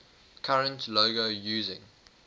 current logo using